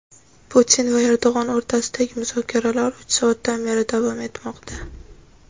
Putin va Erdo‘g‘on o‘rtasidagi muzokaralar uch soatdan beri davom etmoqda.